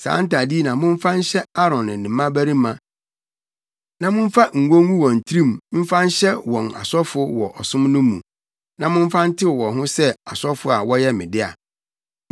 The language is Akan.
Saa ntade yi na momfa nhyɛ Aaron ne ne mmabarima na momfa ngo ngu wɔn tirim mfa nhyɛ wɔn asɔfo wɔ ɔsom no mu, na momfa ntew wɔn ho sɛ asɔfo a wɔyɛ me dea.